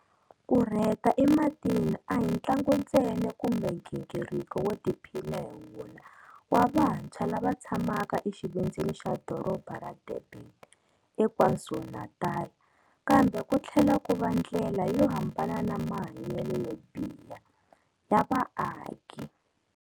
Ku rheta ematini a hi ntlangu ntsena kumbe nghingiriko wo tiphina hi wona wa vantshwa lava tshamaka exivindzini xa doroba ra Durban eKwaZulu-Natal, ka mbe ku tlhela ku va ndlela yo hambana na mahanyelo yo biha ya vaaki.